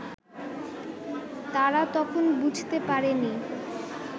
তারা তখন বুঝতে পারেনি